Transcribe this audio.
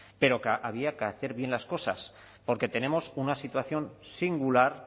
pero había que hacer bien las cosas porque tenemos una situación singular